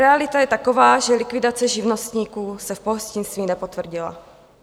Realita je taková, že likvidace živnostníků se v pohostinství nepotvrdila.